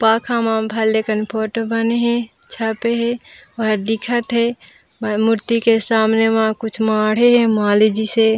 पाखा मा भलेखन फोटो बने हे छापे हे और दिखत हे और मूर्ति के सामने मा कुछ माढ़े हे माली जैसे --